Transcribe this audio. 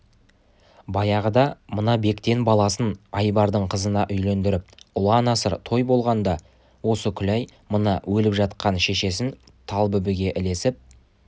баяғыда мына бектен баласын айбардың қызына үйлендіріп ұлан-асыр той болғанда осы күләй мына өліп жатқан шешесі талбүбіге ілесіп